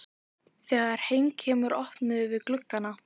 Þegar heim kemur opnum við gluggana.